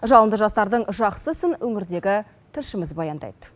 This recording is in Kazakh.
жалынды жастардың жақсысын өңірдегі тілшіміз баяндайды